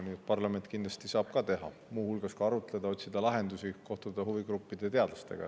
Nii et parlament kindlasti saab ka ära teha, muu hulgas arutleda, otsida lahendusi, kohtuda huvigruppide ja teadlastega.